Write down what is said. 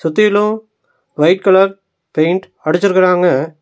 சுத்திலு white colour paint அடிச்சிருக்குறாங்க.